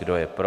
Kdo je pro?